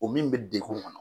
O min bɛ degun kɔnɔ